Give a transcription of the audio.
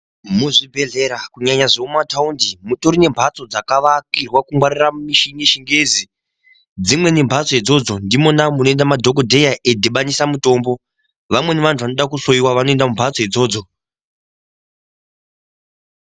Muzvibhedhlera kunyanya zvemumataundi mutori nembatso dzakavakirwa kungwarira mishini yechingezi, dzimweni mbatso idzodzo ndimoda munoenda madhokodheya eidhibanisa mutombo vamweni vantu vanoda kuhloiwa vanoenda mumbatso idzodzo.